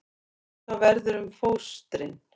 Misjafnt hvað verður um fóstrin